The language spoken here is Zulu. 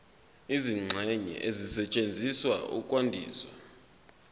izingxenye ezisetshenziswa ukwandisa